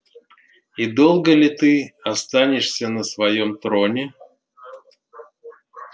и долго ли ты останешься на своём троне